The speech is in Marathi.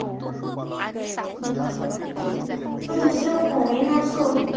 तो दुसरं कोणी नसून,